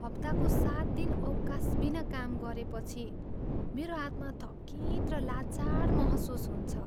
हप्ताको सात दिन अवकाशबिना काम गरेपछि मेरो आत्मा थकित र लाचार महसुस हुन्छ।